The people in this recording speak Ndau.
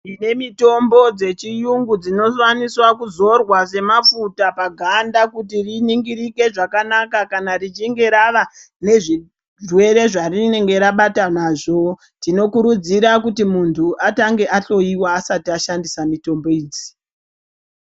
Tine mitombo dzechiyungu dzinokwanisa kuzorwa semafuta paganda kuti riningirike zvakanaka kana richinje ravanezvirwere zvarinenge rabatana nazvo. Tinokurudzira kuti muntu atange ahloyiwa asati ashandisa mitombo idzi.